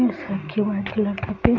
ऐसा क्या है वाइट कलर का पे --